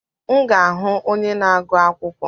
M ga-ahụ onye na-agụ akwụkwọ.